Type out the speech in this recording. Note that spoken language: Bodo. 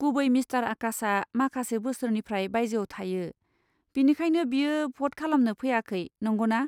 गुबै मिस्टार आकाशआ माखासे बोसोरनिफ्राय बायजोयाव थायो, बिनिखायनो बियो भ'ट खालामनो फैयाखै, नंगौना?